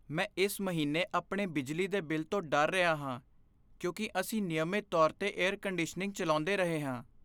ਮੈਂ ਇਸ ਮਹੀਨੇ ਆਪਣੇ ਬਿਜਲੀ ਦੇ ਬਿੱਲ ਤੋਂ ਡਰ ਰਿਹਾ ਹਾਂ, ਕਿਉਂਕਿ ਅਸੀਂ ਨਿਯਮਿਤ ਤੌਰ 'ਤੇ ਏਅਰ ਕੰਡੀਸ਼ਨਿੰਗ ਚਲਾਉਂਦੇ ਰਹੇ ਹਾਂ।